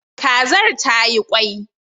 Kazar tayi kwai